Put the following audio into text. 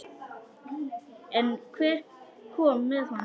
En hver kom með honum?